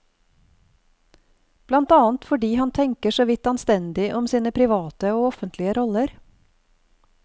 Blant annet fordi han tenker så vidt anstendig om sine private og offentlige roller.